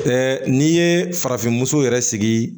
n'i ye farafin muso yɛrɛ sigi